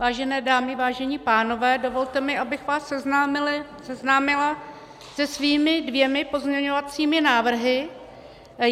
Vážené dámy, vážení pánové, dovolte mi, abych vás seznámila se svými dvěma pozměňovacími návrhy.